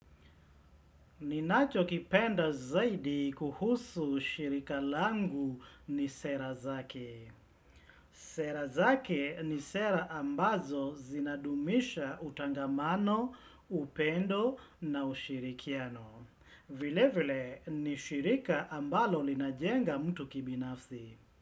Ninacho kipenda zaidi kuhusu shirika langu ni sera zake. Sera zake ni sera ambazo zinadumisha utangamano, upendo na ushirikiano. Vile vile ni shirika ambalo linajenga mtu kibinafsi.